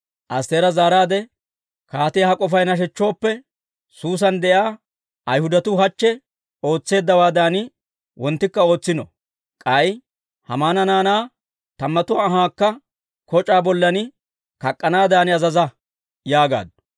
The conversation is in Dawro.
Astteera zaaraadde, «Kaatiyaa ha k'ofay nashechchooppe, Suusan de'iyaa Ayhudatuu hachche ootseeddawaadan wonttikka ootsino. K'ay Haamana naanaa tammatuwaa anhaakka koc'aa bollan kak'k'anaadan azaza» yaagaaddu.